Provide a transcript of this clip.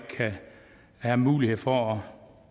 har mulighed for